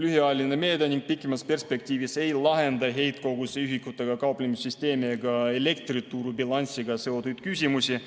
lühiajaline meede ning pikemas perspektiivis ei lahenda heitkoguse ühikutega kauplemise süsteemi ega elektrituru bilansiga seotud küsimusi.